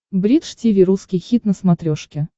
бридж тиви русский хит на смотрешке